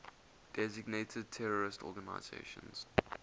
designated terrorist organizations